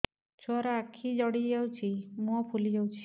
ଛୁଆର ଆଖି ଜଡ଼ି ଯାଉଛି ମୁହଁ ଫୁଲି ଯାଇଛି